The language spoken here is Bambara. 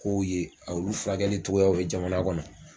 K' u ye, olu furakɛli togoyaw ye jamana kɔnɔ.